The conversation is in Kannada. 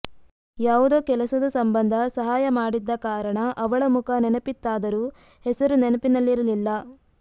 ಯಾವುದೊ ಕೆಲಸದ ಸಂಬಂಧ ಸಹಾಯ ಮಾಡಿದ್ದ ಕಾರಣ ಅವಳ ಮುಖ ನೆನಪಿತ್ತಾದರು ಹೆಸರು ನೆನಪಿನಲ್ಲಿರಲಿಲ್ಲ